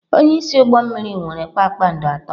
Onye isi ụgbọ mmiri nwere kpakpando atọ.